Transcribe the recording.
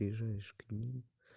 приезжаешь к ним